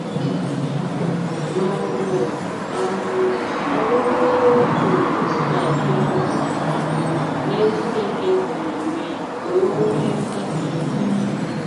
Ma ọ̀ bụ́ um ọ̀bụ̀rị́rị́ otú ntúkwasị obi um nye Chineke siri mee ka ọ nwee nkasi obi!